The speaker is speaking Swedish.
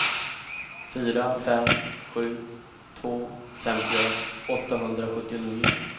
fyra fem sju två femtioett åttahundrasjuttionio